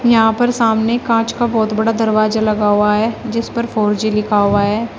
यहां पर सामने कांच का बहुत बड़ा दरवाजा लगा हुआ है जिस पर फोर जी लिखा हुआ है।